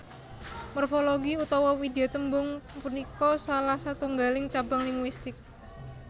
Morfologi utawa widyatembung punika salah satunggaling cabang linguistik